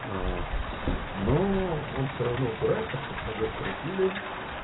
аа ну он всё равно упирается чтоб пробег крутили